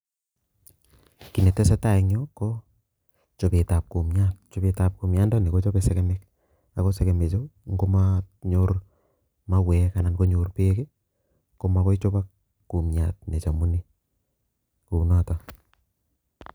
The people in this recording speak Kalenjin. git ne tesetai eng yu go chabetab kumyat ,chobetab kumyat kochabei segemik ,ago ngo manyor segemik mauek go magoikochabok kumyat kouni